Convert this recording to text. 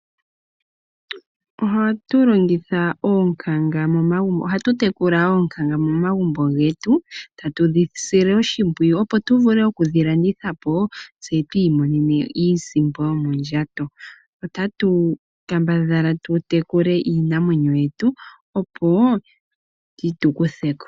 Ohatu tekula oonkanga momagumbo getu tatu dhi sile oshimpyiyu opo tu vule okudhi landitha po tse tu imonene iisimpo mondjato. Otatu kambadhala tu tekule iinamwenyo yetu opo yi tu kuthe ko.